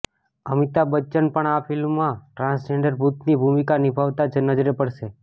અમિતાભ બચ્ચન પણ આ ફિલ્મમાં ટ્રાન્સજેન્ડર ભૂતની ભૂમિકા નિભાવતા નજરે પડશે